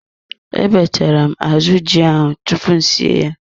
Ebechara m azụ ji ahụ tupu m sie ya.